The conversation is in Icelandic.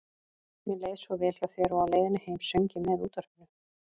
Mér leið svo vel hjá þér og á leiðinni heim söng ég með útvarpinu.